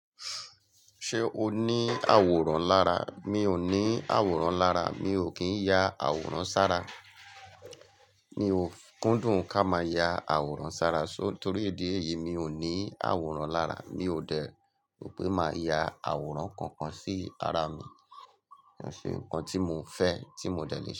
Ṣé o ní àwòrán lára? Mi ò ní àwòrán lára, mi ò kín ya àwòrán sára. Mi ò kúndùn ká máa ya àwòrán sára, so torí ìdí yìí mi ò ní àwòrán lára, mi ò dẹ̀ rò pé màá ya àwòrán kankan sí ara mi. Ṣe nǹkan tí mo fẹ́, tí mo dẹ le ṣe.